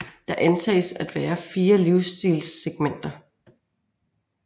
Der antages at være fire livsstilssegmenter